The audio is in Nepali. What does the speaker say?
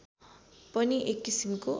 पनि एक किसिमको